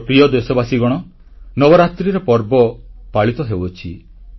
ମୋ ପ୍ରିୟ ଦେଶବାସୀଗଣ ନବରାତ୍ରିର ପର୍ବ ପାଳିତ ହେଉଅଛି